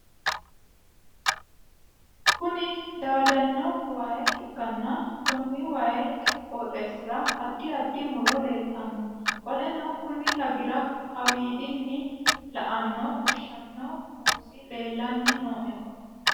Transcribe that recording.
Konni daadano waa ikanna konni wayi qooxeesira addi addi muro leeltano. Qoleno konni lagira kawiidinni la'anni fushano buusi leelanni no.